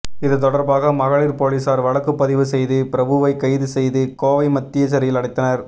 இது தொடர்பாக மகளிர் போலீசார் வழக்கு பதிவு செய்து பிரபுவை கைது செய்து கோவை மத்திய சிறையில் அடைத்தனர்